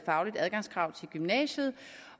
adgangskrav til gymnasiet